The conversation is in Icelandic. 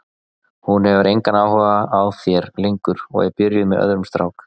Hún hefur engan áhuga á þér lengur og er byrjuð með öðrum strák.